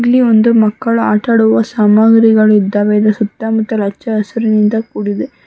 ಇಲ್ಲಿ ಒಂದು ಮಕ್ಕಳ ಆಟ ಆಡುವ ಸಾಮಗ್ರಿಗಳಿದಾವೆ ಇದ ಸುತ್ತ ಮುತ್ತಲು ಹಚ್ಚ ಹಸಿರಿನಿಂದ ಕೂಡಿದೆ.